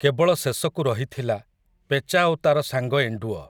କେବଳ ଶେଷକୁ ରହିଥିଲା, ପେଚା ଓ ତା'ର ସାଙ୍ଗ ଏଣ୍ଡୁଅ ।